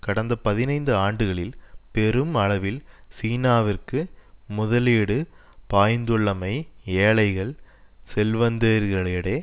கடந்த பதினைந்து ஆண்டுகளில் பெரும் அளவில் சீனாவிற்கு முதலீடு பாய்ந்துள்ளமை ஏழைகள் செல்வந்தர்களுளிடயே